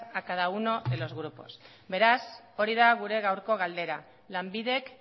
a cada uno de los grupos beraz hori da gure gaurko galdera lanbidek